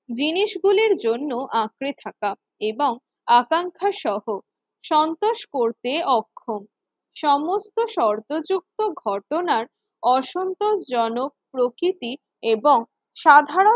জিনিস গুলির জন্য আঁকড়ে থাকা এবং আকাঙ্ক্ষা সহ সন্তোষ করতে অক্ষম। সমস্ত শর্ত যুক্ত ঘটনার অসন্তোষজনক প্রকৃতির এবং সাধারণ